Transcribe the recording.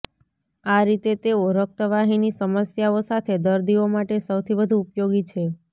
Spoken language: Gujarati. આ રીતે તેઓ રક્તવાહિની સમસ્યાઓ સાથે દર્દીઓ માટે સૌથી વધુ ઉપયોગી છે